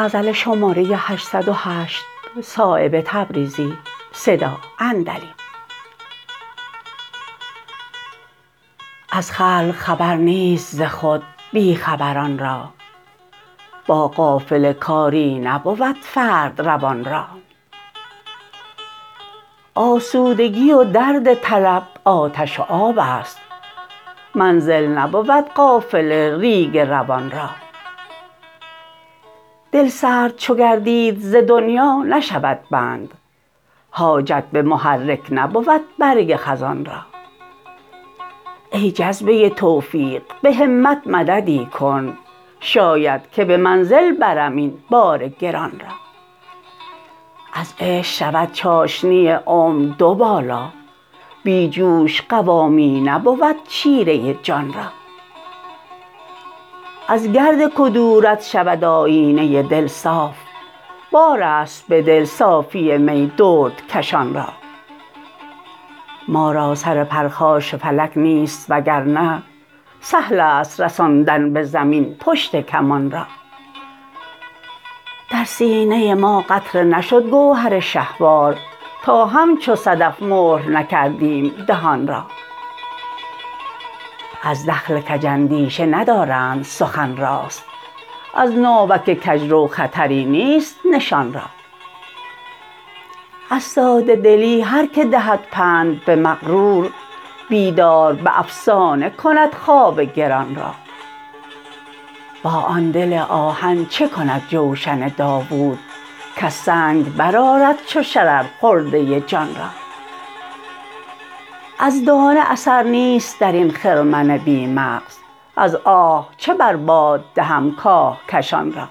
از خلق خبر نیست ز خود بی خبران را با قافله کاری نبود فرد روان را آسودگی و درد طلب آتش و آب است منزل نبود قافله ریگ روان را دل سرد چو گردید ز دنیا نشود بند حاجت به محرک نبود برگ خزان را ای جذبه توفیق به همت مددی کن شاید که به منزل برم این بار گران را از عشق شود چاشنی عمر دو بالا بی جوش قوامی نبود شیره جان را از گرد کدورت شود آیینه دل صاف بارست به دل صافی می دردکشان را ما را سر پرخاش فلک نیست وگرنه سهل است رساندن به زمین پشت کمان را در سینه ما قطره نشد گوهر شهوار تا همچو صدف مهر نکردیم دهان را از دخل کج اندیشه ندارند سخن راست از ناوک کجرو خطری نیست نشان را از ساده دلی هر که دهد پند به مغرور بیدار به افسانه کند خواب گران را با آن دل آهن چه کند جوشن داود کز سنگ برآرد چو شرر خرده جان را از دانه اثر نیست درین خرمن بی مغز از آه چه بر باد دهم کاهکشان را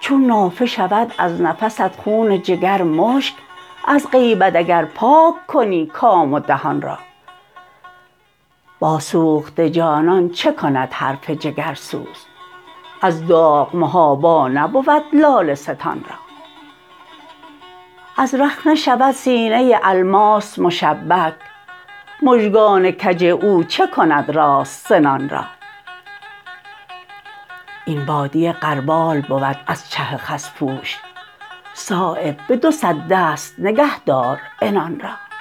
چون نافه شود از نفست خون جگر مشک از غیبت اگر پاک کنی کام و دهان را با سوخته جانان چه کند حرف جگرسوز از داغ محابا نبود لاله ستان را از رخنه شود سینه الماس مشبک مژگان کج او چه کند راست سنان را این بادیه غربال بود از چه خس پوش صایب به دو صد دست نگه دار عنان را